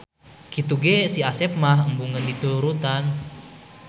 Kitu ge Si Asep mah embungeun diturutan.